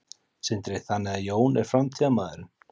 Sindri: Þannig að Jón er framtíðarmaðurinn?